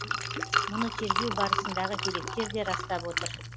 мұны тергеу барысындағы деректер де растап отыр